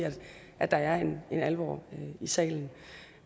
at der er en alvor i salen